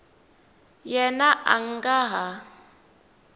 yena a a nga ha